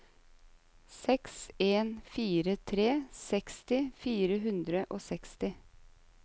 seks en fire tre seksti fire hundre og seksti